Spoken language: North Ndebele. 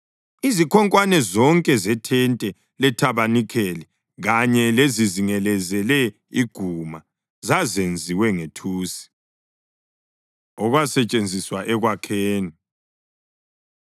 Izikhonkwane zonke zethente lethabanikeli kanye lezizingelezele iguma zazenziwe ngethusi. Okwasetshenziswa Ekwakheni